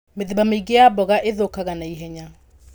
Mĩthemba mĩingĩ ya mboga ĩthũkaga naihenya.